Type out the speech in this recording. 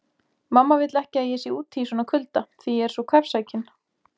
Mamma vill ekki að ég sé úti í svona kulda því ég er svo kvefsækinn